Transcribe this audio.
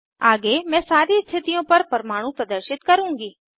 आगे मैं सारी स्थितियों पर परमाणु प्रदर्शित करुँगी